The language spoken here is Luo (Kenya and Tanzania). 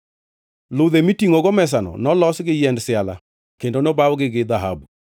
Ludhe mitingʼogo mesano nolos gi yiend siala kendo nobawgi gi dhahabu.